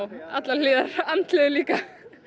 allar hliðarnar andlegu líka